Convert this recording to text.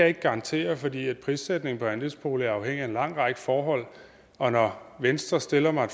ikke garantere fordi prissætningen på andelsboliger er afhængig af en lang række forhold og når venstre stiller mig